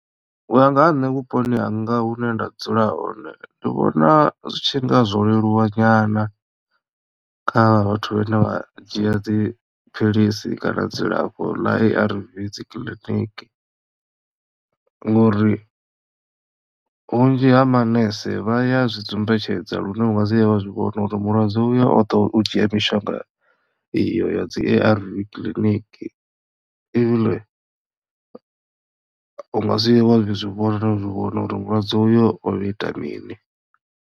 U ya nga ha nṋe vhuponi hanga hune nda dzula hone ndi vhona zwi tshi nga zwo leluwa nyana kha vhathu vhane vha dzhia dzi philisi kana dzilafho ḽa A_R_V dzi kiḽiniki ngori vhunzhi ha manese vha ya zwi dzumbetshedza lune u nga si vhuya wa zwivhona uri mulwadze uyo oḓo u dzhia mishonga iyo ya dzi A_R_V clinic u nga si wa zwi vhona na u zwi vhona uri mulwadze uyo o ita mini.